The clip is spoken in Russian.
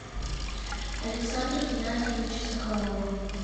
александра геннадьевича соколова